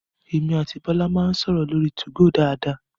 Emi àti Bọ́lá máa ń sọ̀rọ̀ lórí 2go dáadáa